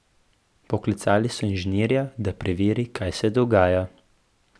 Poklicali so inženirja, da preveri, kaj se dogaja.